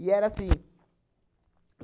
E era assim.